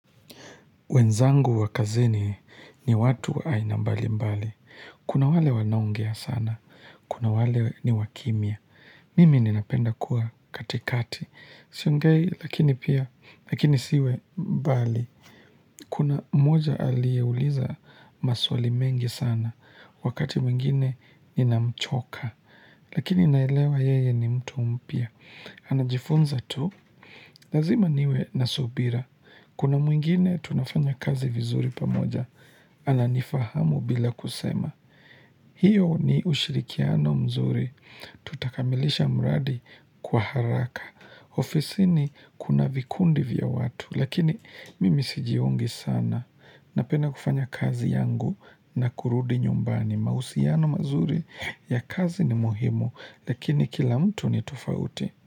Wenzangu wa kazini ni watu aina mbali mbali. Kuna wale wanongea sana. Kuna wale ni wakimia. Mimi ninapenda kuwa katikati. Siongei, lakini pia, lakini siwe mbali. Kuna mmoja aliyeuliza maswali mengi sana. Wakati mwingine ninamchoka. Lakini naelewa yeye ni mtu mpya. Anajifunza tu. Lazima niwe na subira. Kuna mwengine tunafanya kazi vizuri pamoja, ananifahamu bila kusema. Hiyo ni ushirikiano mzuri, tutakamilisha mradi kwa haraka. Ofisini kuna vikundi vya watu, lakini mimi sijiungi sana. Napenda kufanya kazi yangu na kurudi nyumbani. Mahusiano mazuri ya kazi ni muhimu, lakini kila mtu ni tofauti.